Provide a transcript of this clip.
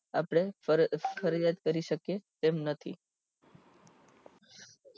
તેમાં આપડે ફરિયાદ કરી શકીએ તેમ નથી